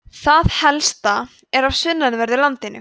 það helsta er af sunnanverðu landinu